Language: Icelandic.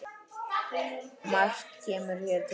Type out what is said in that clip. Margt kemur hér til.